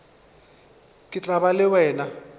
ke tla ba le wena